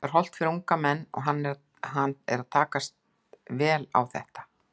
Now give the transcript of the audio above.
Það er hollt fyrir unga menn og hann er að takast vel á þetta.